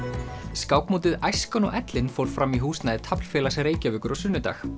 skákmótið æskan og ellin fór fram í húsnæði taflfélags Reykjavíkur á sunnudag